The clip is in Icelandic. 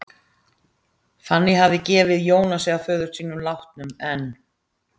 Fanný hafði gefið Jónasi að föður sínum látnum, en